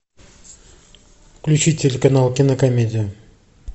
включи телеканал кинокомедия